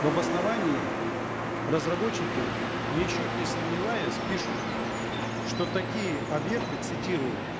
в обосновании разработчики ничуть не сомневаясь пишут что такие объекты цитирую